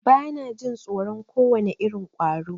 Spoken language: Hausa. Bana jin tsoron kowane irin ƙwaro.